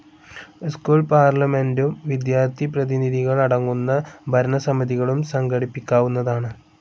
School പാർലമെൻ്റും വിദ്യാർത്ഥിപ്രതിനിധികൾ അടങ്ങുന്ന ഭരണസമിതികളും സംഘടിപ്പിക്കാവുന്നതാണ്.